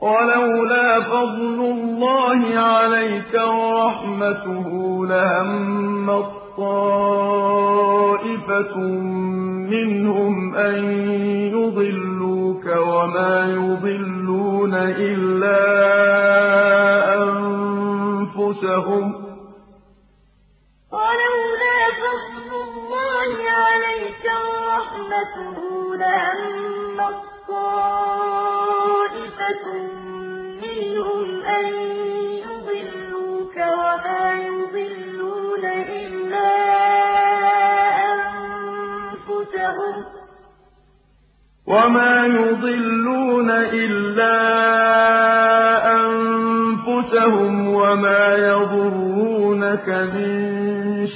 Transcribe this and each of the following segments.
وَلَوْلَا فَضْلُ اللَّهِ عَلَيْكَ وَرَحْمَتُهُ لَهَمَّت طَّائِفَةٌ مِّنْهُمْ أَن يُضِلُّوكَ وَمَا يُضِلُّونَ إِلَّا أَنفُسَهُمْ ۖ وَمَا يَضُرُّونَكَ مِن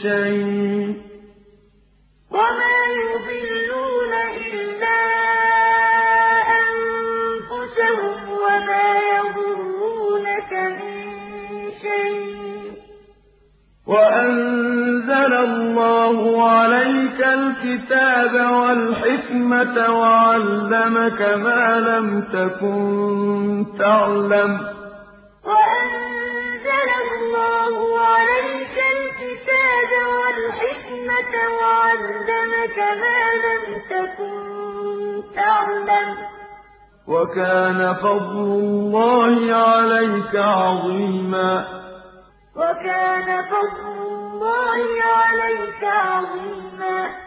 شَيْءٍ ۚ وَأَنزَلَ اللَّهُ عَلَيْكَ الْكِتَابَ وَالْحِكْمَةَ وَعَلَّمَكَ مَا لَمْ تَكُن تَعْلَمُ ۚ وَكَانَ فَضْلُ اللَّهِ عَلَيْكَ عَظِيمًا وَلَوْلَا فَضْلُ اللَّهِ عَلَيْكَ وَرَحْمَتُهُ لَهَمَّت طَّائِفَةٌ مِّنْهُمْ أَن يُضِلُّوكَ وَمَا يُضِلُّونَ إِلَّا أَنفُسَهُمْ ۖ وَمَا يَضُرُّونَكَ مِن شَيْءٍ ۚ وَأَنزَلَ اللَّهُ عَلَيْكَ الْكِتَابَ وَالْحِكْمَةَ وَعَلَّمَكَ مَا لَمْ تَكُن تَعْلَمُ ۚ وَكَانَ فَضْلُ اللَّهِ عَلَيْكَ عَظِيمًا